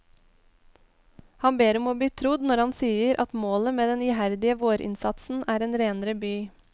Han ber om å bli trodd når han sier at målet med den iherdige vårinnsatsen er en renere by.